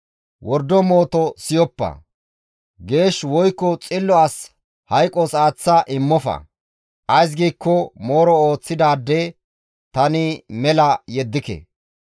Wordo mooto siyoppa; geesh woykko xillo as hayqos aaththa immofa; ays giikko mooro ooththidaade tani mela yeddike.